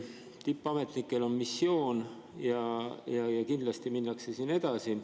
Tippametnikel on missioon ja kindlasti minnakse siin edasi.